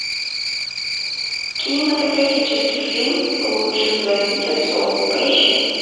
кинематографический фильм лучше звоните солу поищи